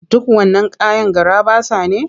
Duk wannan kayan garaɓasa ne?